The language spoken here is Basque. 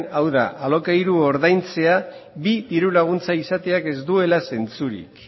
hau da alokairua ordaintzea bi diru laguntza izateak ez duela zentzurik